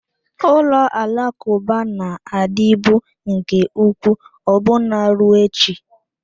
Ụlọ alakụba na-adịbu nke ukwuu ọbụna ruo echi.